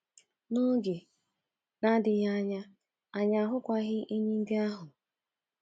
N’oge na-adịghị anya, anyị ahụkwaghị enyí ndị ahụ.